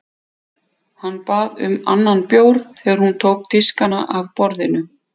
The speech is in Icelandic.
Hann bað um annan bjór þegar hún tók diskana af borðinu.